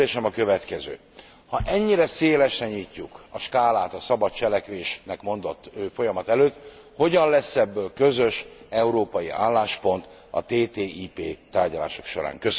Kérdésem a következő ha ennyire szélesre nyitjuk a skálát a szabad cselekvésnek mondott folyamat előtt, hogyan lesz ebből közös európai álláspont a TTIP tárgyalások során?